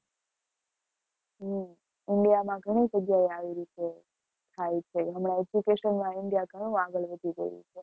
હમ india માં ઘણી જગ્યાએ આવી રીતે થાય છે, હમણાં education માં india ઘણું આગળ વધી ગયું છે.